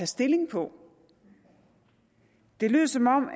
stilling på det lød som om